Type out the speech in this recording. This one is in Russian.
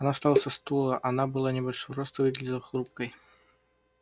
она встала со стула она была небольшого роста и выглядела хрупкой